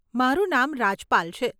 મારું નામ રાજપાલ છે.